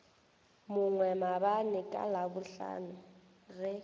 mongwe maabane ka labohlano ge